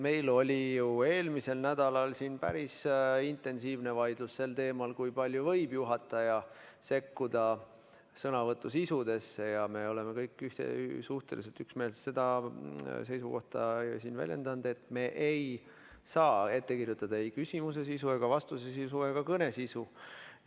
Meil oli eelmisel nädalal siin päris intensiivne vaidlus sel teemal, kui palju võib juhataja sekkuda sõnavõtu sisusse, ja me oleme kõik suhteliselt üksmeelselt väljendanud seisukohta, et me ei saa ette kirjutada ei küsimuse sisu, vastuse sisu ega kõne sisu.